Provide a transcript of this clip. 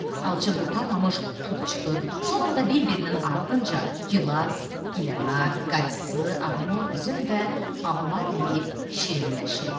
Alça qurtarmamış tut çıxır, sonra da bir-birinin ardınca gilas, gilənar, qayısı, armud, üzüm və alma dəyib şirinləşib.